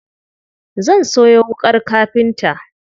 Zan sayo wuƙar kafinta.